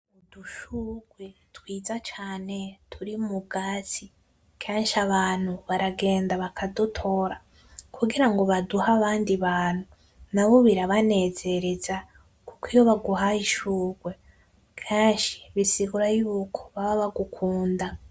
Udushurwe twiza cane turi mu bwatsi, kenshi abantu baragenda bakadutora kugira ngo baduhe abandi bantu , nabo birabanezereza kuko iyo baguhaye ishurwe kenshi bisigura yuko baba bagukunda .